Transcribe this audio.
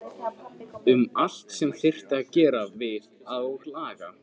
Um allt sem þyrfti að gera við og laga.